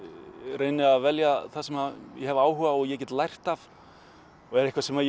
reyni að velja það sem ég hef áhuga á og ég get lært af og er eitthvað sem